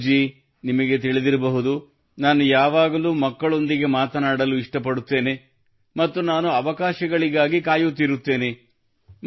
ಗೌರವ್ ಜೀ ನಿಮಗೆ ತಿಳಿದಿರಬಹುದು ನಾನು ಯಾವಾಗಲೂ ಮಕ್ಕಳೊಂದಿಗೆ ಮಾತನಾಡಲು ಇಷ್ಟಪಡುತ್ತೇನೆ ಮತ್ತು ನಾನು ಅವಕಾಶಗಳಿಗಾಗಿ ಕಾಯುತ್ತಿರುತ್ತೇನೆ